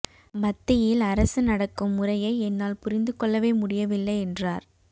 மத்தியில் அரசு நடக்கும் முறையை என்னால் புரிந்து கொள்ளவே முடியவில்லை என்றார்